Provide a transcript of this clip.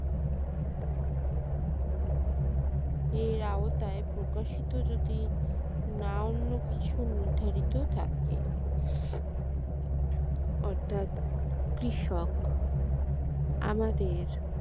এর আওতায় প্রকাশিত যদি না অন্য কিছু নির্ধারিত থাকে অর্থাৎ কৃষক আমাদের